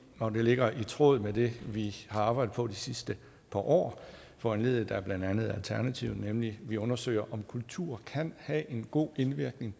og det ligger i tråd med det vi har arbejdet på de sidste par år foranlediget af blandt andet alternativet nemlig at vi undersøger om kultur kan have en god indvirkning